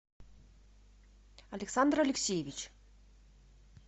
александр алексеевич